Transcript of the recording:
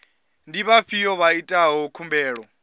ndi vhafhio vha itaho khumbelo